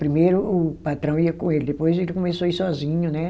Primeiro o patrão ia com ele, depois ele começou a ir sozinho, né?